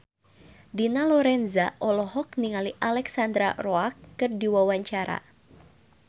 Dina Lorenza olohok ningali Alexandra Roach keur diwawancara